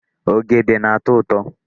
Ogede na-atọ ụtọ.